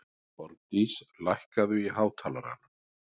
Borgdís, lækkaðu í hátalaranum.